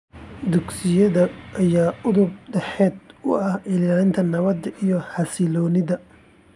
Dugsiyada ayaa udub dhexaad u ah ilaalinta nabadda iyo xasilloonida.